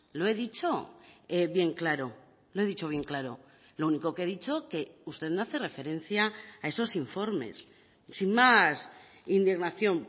lo he dicho bien claro lo he dicho bien claro lo único que he dicho que usted no hace referencia a esos informes sin más indignación